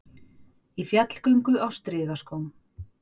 Í fjallgöngu á strigaskóm